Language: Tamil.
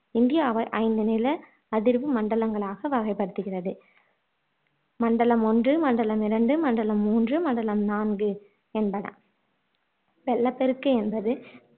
இந்தியாவை ஐந்து நில அதிர்வு மண்டலங்களாக வகைப்படுத்துகிறது மண்டலம் ஒன்று மண்டலம் இரண்டு மண்டலம் மூன்று மண்டலம் நான்கு என்பன வெள்ளப்பெருக்கு என்பது